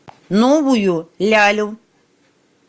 новую лялю